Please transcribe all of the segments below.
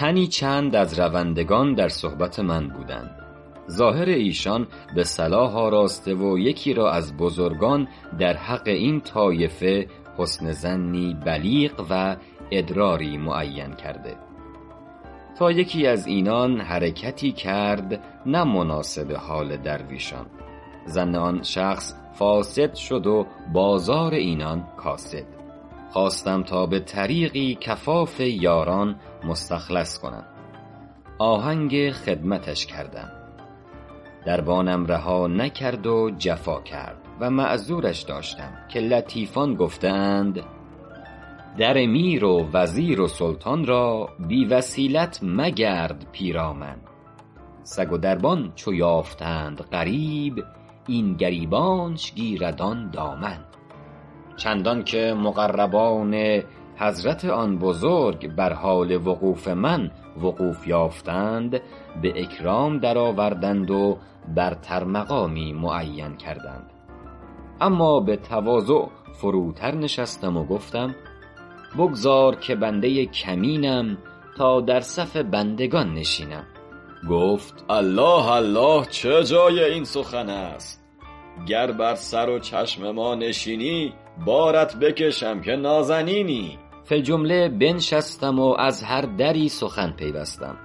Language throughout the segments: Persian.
تنی چند از روندگان در صحبت من بودند ظاهر ایشان به صلاح آراسته و یکی را از بزرگان در حق این طایفه حسن ظنی بلیغ و ادراری معین کرده تا یکی از اینان حرکتی کرد نه مناسب حال درویشان ظن آن شخص فاسد شد و بازار اینان کاسد خواستم تا به طریقی کفاف یاران مستخلص کنم آهنگ خدمتش کردم دربانم رها نکرد و جفا کرد و معذورش داشتم که لطیفان گفته اند در میر و وزیر و سلطان را بی وسیلت مگرد پیرامن سگ و دربان چو یافتند غریب این گریبانش گیرد آن دامن چندان که مقربان حضرت آن بزرگ بر حال وقوف من وقوف یافتند و به اکرام درآوردند و برتر مقامی معین کردند اما به تواضع فروتر نشستم و گفتم بگذار که بنده کمینم تا در صف بندگان نشینم گفت الله الله چه جای این سخن است گر بر سر و چشم ما نشینی بارت بکشم که نازنینی فی الجمله بنشستم و از هر دری سخن پیوستم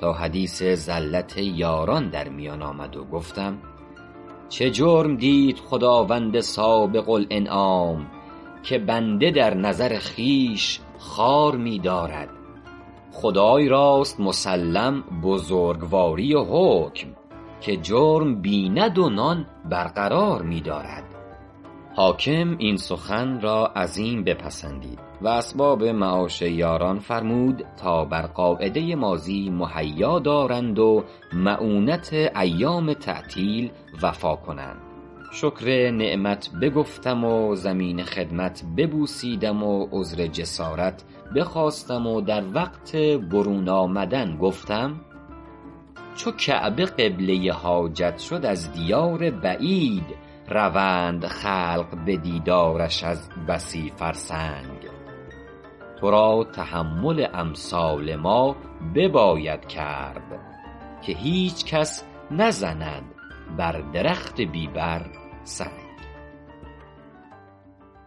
تا حدیث زلت یاران در میان آمد و گفتم چه جرم دید خداوند سابق الانعام که بنده در نظر خویش خوار می دارد خدای راست مسلم بزرگواری و حکم که جرم بیند و نان برقرار می دارد حاکم این سخن را عظیم بپسندید و اسباب معاش یاران فرمود تا بر قاعده ماضی مهیا دارند و مؤونت ایام تعطیل وفا کنند شکر نعمت بگفتم و زمین خدمت ببوسیدم و عذر جسارت بخواستم و در وقت برون آمدن گفتم چو کعبه قبله حاجت شد از دیار بعید روند خلق به دیدارش از بسی فرسنگ تو را تحمل امثال ما بباید کرد که هیچ کس نزند بر درخت بی بر سنگ